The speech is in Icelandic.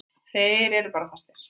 Þeir eru bara fastir.